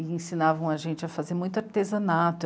E ensinavam a gente a fazer muito artesanato